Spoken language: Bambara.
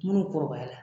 Minnu kɔrɔbayara